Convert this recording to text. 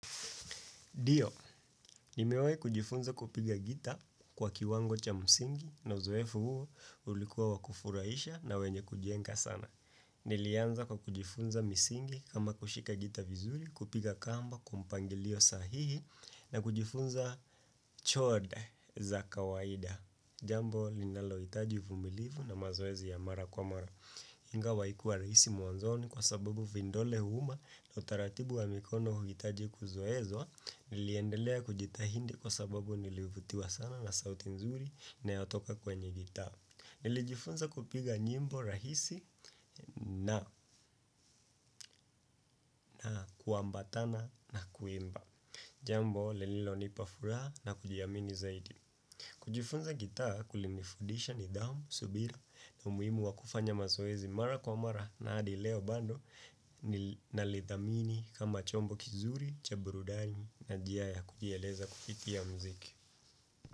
Ndio, nimewai kujifunza kupiga gita kwa kiwango cha msingi na uzoefu huo ulikuwa wakufurahisha na wenye kujenga sana. Nilianza kwa kujifunza misingi kama kushika gitaa vizuri, kupiga kamba, kwampangilio sahihi na kujifunza chord za kawaida. Jambo, linalo hitaji uvumilivu na mazoezi ya mara kwamara. Ingawa haikuwa rahisi mwanzoni kwa sababu vindole huuma na utaratibu wa mikono hukitaji kuzoezwa niliendelea kujitahindi kwa sababu nilivutiwa sana na sauti nzuri ina yotoka kwenye gitaa. Nilijifunza kupiga nyimbo rahisi na kuambatana na kuimba. Jambo, lililo nipafuraha na kujiamini zaidi. Kujifunza gitaa kulinifudisha ni dhamu, subira na umuhimu wakufanya mazoezi mara kwa mara na hadi leo bado na lithamini kama chombo kizuri, cha burudani na jia ya kujieleza kupitia mziki.